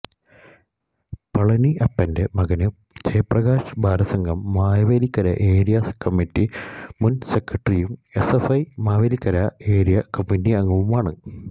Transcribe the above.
പളനിയപ്പന്റെ മകന് Jayaprakash Balasangham Mavelikkara area committee മുന് സെക്രട്ടറിയും എസ്എഫ്ഐ മാവേലിക്കര ഏരിയ കമ്മിറ്റിയംഗവുമാണ്